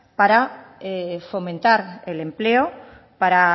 para fomentar el empleo para